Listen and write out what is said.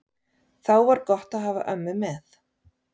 Þá var gott að hafa ömmu með.